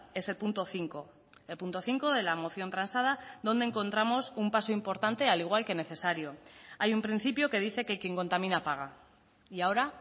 es el punto cinco el punto cinco de la moción transada donde encontramos un paso importante al igual que necesario hay un principio que dice que quien contamina paga y ahora